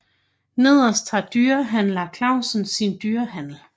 Nederst har Dyrehandler Clausen sin dyrehandel